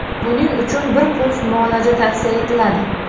Buning uchun bir kurs muolaja tavsiya etiladi.